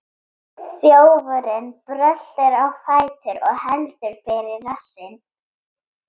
Þjófurinn bröltir á fætur og heldur fyrir rassinn.